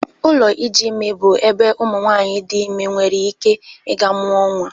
Ụlọ iji ime bụ ebe ụmụ nwanyị dị ime nwere ike ị ga-mụa nwa.